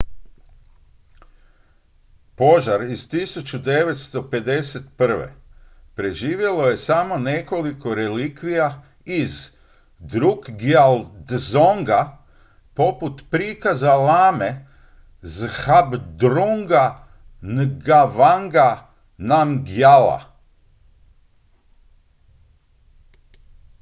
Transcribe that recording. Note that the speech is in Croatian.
požar iz 1951. preživjelo je samo nekoliko relikvija iz drukgyal dzonga poput prikaza lame zhabdrunga ngawanga namgyala